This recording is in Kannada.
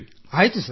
ಆಯ್ತು ಸರ್